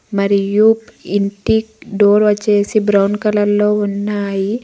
మరియు ఇంటి డోర్ వచ్చేసి బ్రౌన్ కలర్ లో ఉన్నాయి.